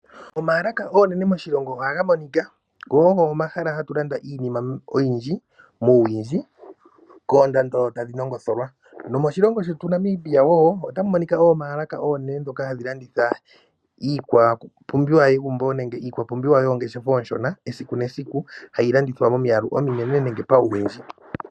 Oomalaka oonene moshilongo ohaga monika, go ogo omahala hatu landa iinima oyindji muuwindji koondando tadhi nongotholwa. Moshilongo shetu Namibia otamu monika oomalaka dhoka oonene hadhi landitha iikwapumbiwa yegumbo hayi landithwa momiyalu ominene nenge pauwindji.